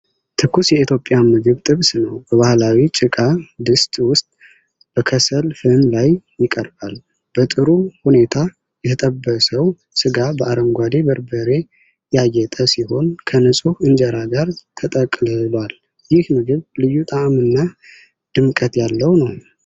ትኩስ የኢትዮጵያ ምግብ ጥብስ ነው። በባህላዊ ጭቃ ድስት ውስጥ በከሰል ፍም ላይ ይቀርባል። በጥሩ ሁኔታ የተጠበሰው ስጋ በአረንጓዴ በርበሬ ያጌጠ ሲሆን፣ ከንፁህ እንጀራ ጋር ተጠቅልሏል። ይህ ምግብ ልዩ ጣዕም እና ድምቀት ያለው ነው።